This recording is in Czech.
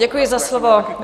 Děkuji za slovo.